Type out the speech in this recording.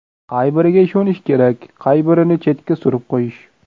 Qay biriga ishonish kerak, qay birini chetga surib qo‘yish?